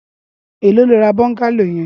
Éló ló rà bọngàló yèn